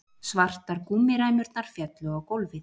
Svartar gúmmíræmurnar féllu á gólfið